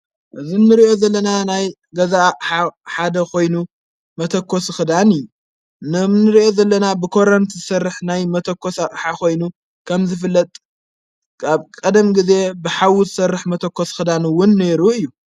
እዝ ንርእኦ ዘለና ናይ ገዛእ ሓደ ኾይኑ መተኮስ ኽዳን እዩ ነም ንርኦ ዘለና ብኰረንቲ ሠርሕ ናይ መተኮስሓ ኾይኑ ከም ዘፍለጥ ብ ቐደም ጊዜ ብሓዉ ሠርሕ መተኮስ ኽዳኑውን ነይሩ እዩ።